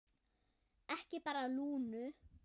Ekki bara Lúnu.